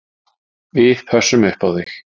Við pössum upp á þig